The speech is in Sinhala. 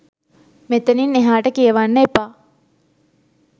මෙතනින් එහාට කියවන්න එපා